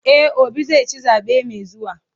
E, Obi zai ci zaɓe mai zuwa.